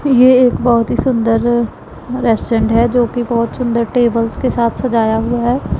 ये एक बहोत ही सुंदर रेस्टोरेंट हैं जो की बहोत सुंदर टेबल्स के साथ सजाया हुआ हैं।